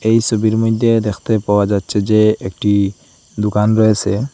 এই ছবির মইধ্যে দেখতে পাওয়া যাচ্ছে যে একটি দুকান রয়েসে।